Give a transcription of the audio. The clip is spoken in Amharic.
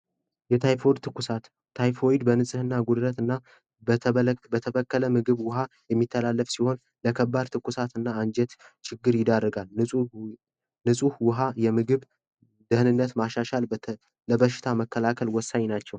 የታይፎይድ ትኩሳት ታይፎይድ በንጽህና ጉድለትና በተበከለ ምግብና መጠጥ የሚጠብብ ሲሆን ለከባድ ትኩሳትና አንጀት ችግር ንፁህ ውሀ እና ምግብ ለበሽታ መከላከል ወሳኝ ናቸው።